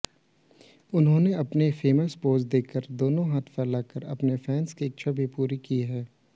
उन्होने अपने famous pose दोनो हांथ फैलाकर अपने फैंस की इच्छा भी पूरी की है